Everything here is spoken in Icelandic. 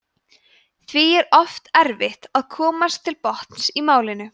því er oft erfitt að komast til botns í málinu